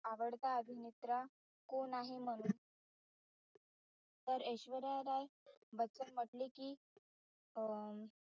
आवडता अभिनेत्रा कोण आहे म्हणून, तर ऐश्वर्या राय बच्चन म्हटली कि अं